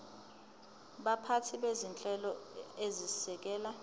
baphathi bezinhlelo ezisekela